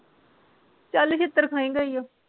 ਚੱਲ ਛਿੱਤਰ ਖਾਏਂਗਾ ਈ ਆ